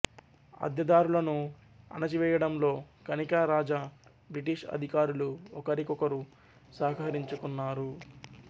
అద్దెదారులను అణచివేయడంలో కనికా రాజా బ్రిటిష్ అధికారులు ఒకరికొకరు సహకరించుకున్నారు